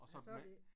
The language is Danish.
Og så med